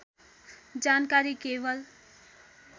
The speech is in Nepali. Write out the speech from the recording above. जानकारी केवल